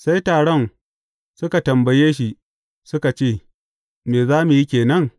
Sai taron suka tambaye shi, suka ce Me za mu yi ke nan?